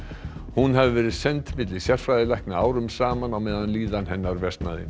hún hafi verið send milli sérfræðilækna árum saman á meðan líðan hennar versnaði